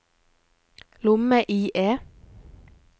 lomme-IE